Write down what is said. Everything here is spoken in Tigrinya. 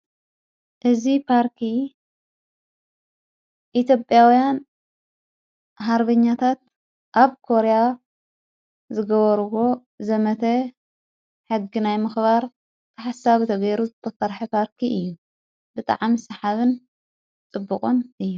እዝ ጳርኪ ኢቲዮጰኣውያን ሃርብኛታት ኣብ ኮርያ ዝገበርዎ ዘመተ ሕግ ናይ ምኽባር ክሓሳብ ተጐይሩ ዘተፍርሐ ጳርኪ እዩ። ብጥዓም ሰሓብን ጥቡቖን እየ።